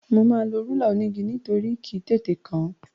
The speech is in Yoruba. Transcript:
Mo máa lo rúlà onígi nítorí kì í tètè kán.